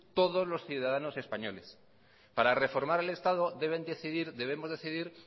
todos los ciudadanos españoles para reformar el estado debemos decidir